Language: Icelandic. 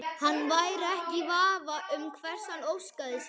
Hann væri ekki í vafa um hvers hann óskaði sér.